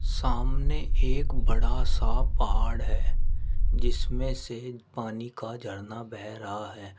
सामने एक बड़ा सा पहाड़ है जिसमें से पानी का झरना बह रहा है।